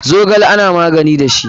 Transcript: Zogale ana magani da shi.